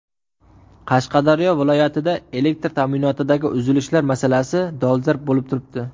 Qashqadaryo viloyatida elektr ta’minotidagi uzilishlar masalasi dolzarb bo‘lib turibdi.